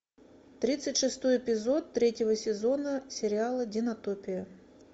тридцать шестой эпизод третьего сезона сериала динотопия